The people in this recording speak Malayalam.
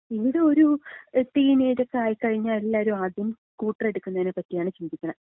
ഇവിടെ ഒരു ടീനേജക്കെ ആയിക്കഴിഞ്ഞാ എല്ലാവരും ആദ്യം സ്കൂട്ടർ എടുക്കുന്നതിനെപ്പറ്റിയാണ് ചിന്തിക്കണത്.